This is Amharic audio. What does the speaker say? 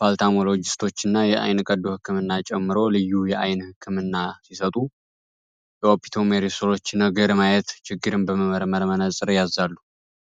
ፓርታሞሎጂስቶኛንና ልዩ የአይን ቀዶ ጥገና ሀኪሞችን ጨምሮ